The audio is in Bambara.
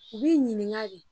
U b'i ɲininka de.